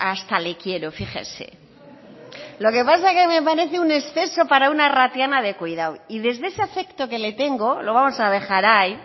hasta le quiero fíjese lo que pasa que me parece un exceso para una arratiana de cuidado y desde ese afecto que le tengo lo vamos a dejar ahí